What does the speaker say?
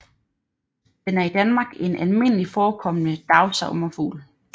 Den er i Danmark en almindeligt forekommende dagsommerfugl